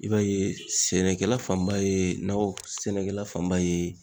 I b'a ye sɛnɛkɛla fanba ye, nakɔ sɛnɛkɛla fanba ye